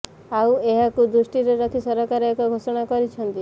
ଆଉ ଏହାକୁ ଦୃଷ୍ଟିରେ ରଖି ସରକାର ଏକ ଘୋଷଣା କରିଛନ୍ତି